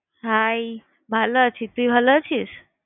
Hi! ভালো আছি। তুই ভালো আছিস?